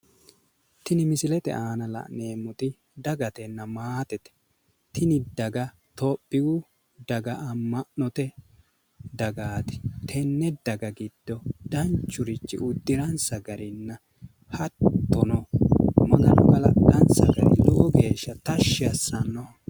Tini misilete aana la'neemmoti dagatenna maatete. Tini daga tophiyu daga amma'note dagaati. Tenne daga giddo danchurichi uddiransa garinna hattono magano galaxxansa gari lowo geeshsha tashshi assanno.